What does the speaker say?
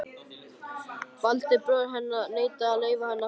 Valdi, bróðir hennar, neitaði að leyfa henni að fara.